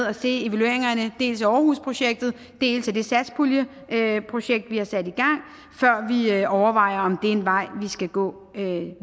at se evalueringerne dels af aarhusprojektet dels af det satspuljeprojekt vi har sat i gang før vi overvejer om det er en vej vi skal gå